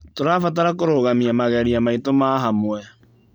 Tũrabatara kũrũgamia mageria maitũ ma hamwe.